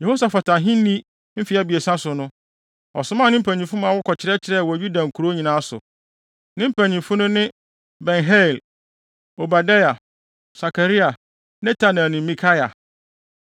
Yehosafat ahenni mfe abiɛsa so no, ɔsomaa ne mpanyimfo ma wɔkɔkyerɛkyerɛɛ wɔ Yuda nkurow nyinaa so. Ne mpanyimfo no ne Ben-Hail, Obadia, Sakaria, Netanel ne Mikaia.